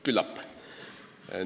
Küllap jah.